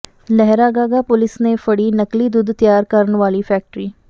Lehragaga police ਨੇ ਫੜੀ ਨਕਲੀ ਦੁੱਧ ਤਿਆਰ ਕਰਨ ਵਾਲੀ ਫ਼ੈਕਟਰੀ